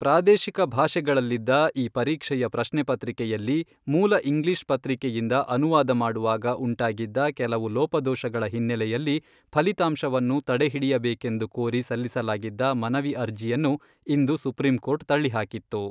ಪ್ರಾದೇಶಿಕ ಭಾಷೆಗಳಲ್ಲಿದ್ದ ಈ ಪರೀಕ್ಷೆಯ ಪ್ರಶ್ನೆ ಪತ್ರಿಕೆಯಲ್ಲಿ ಮೂಲ ಇಂಗ್ಲೀಷ್ ಪತ್ರಿಕೆಯಿಂದ ಅನುವಾದ ಮಾಡುವಾಗ ಉಂಟಾಗಿದ್ದ ಕೆಲವು ಲೋಪದೋಷಗಳ ಹಿನ್ನೆಲೆಯಲ್ಲಿ ಫಲಿತಾಂಶವನ್ನು ತಡೆಹಿಡಿಯಬೇಕೆಂದು ಕೋರಿ ಸಲ್ಲಿಸಲಾಗಿದ್ದ ಮನವಿ ಅರ್ಜಿಯನ್ನು ಇಂದು ಸುಪ್ರಿಂಕೋರ್ಟ್ ತಳ್ಳಿಹಾಕಿತ್ತು.